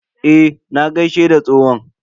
Eh, na gaishe da tsohon.